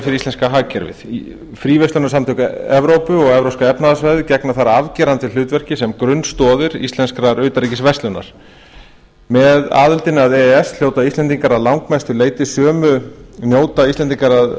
fyrir íslenska hagkerfið fríverslunarsamtök evrópu og evrópska efnahagssvæðið gegna þar afgerandi hlutverki sem grunnstoðir íslenskrar utanríkisverslunar með aðildinni að e e s njóta íslendingar að